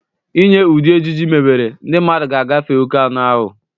Inye ụdị ejiji mebere, ndị mmadụ ga-agafe oke anụ ahụ.